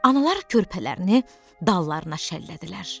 Analar körpələrini dallarına şəllədilər.